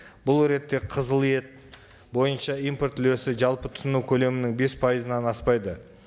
бұл ретте қызыл ет бойынша импорт үлесі жалпы тұтыну көлемінің бес пайызынан аспайды